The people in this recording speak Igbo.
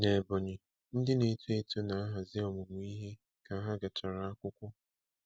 N'Ebonyi, ndị na-eto eto na-ahazi ọmụmụ ihe ka ha gachara akwụkwọ.